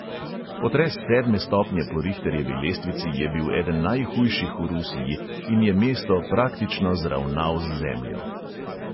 Potres sedme stopnje po rihterjevi lestvici je bil eden najhujših v rusiji in je mesto praktično zravnal z zemljo.